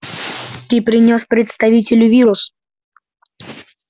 ты принёс представителю вирус